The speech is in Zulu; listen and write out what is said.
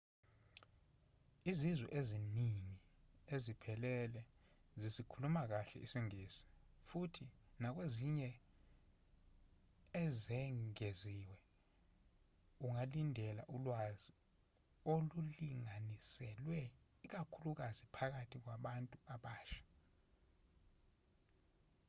izizwe eziningi eziphelele zisikhuluma kahle isingisi futhi nakwezinye ezengeziwe ungalindela ulwazi olulinganiselwe ikakhulukazi phakathi kwabantu abasha